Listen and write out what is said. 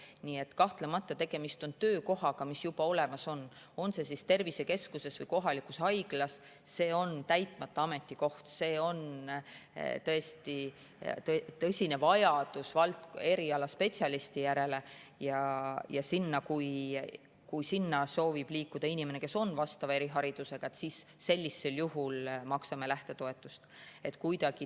Nii et kahtlemata, kui tegemist on töökohaga, mis juba olemas on, on see tervisekeskuses või kohalikus haiglas, kui see on täitmata ametikoht, kui on tõsine vajadus erialaspetsialisti järele ja kui sinna soovib minna inimene, kes on vastava eriharidusega, siis sellisel juhul me maksame lähtetoetust.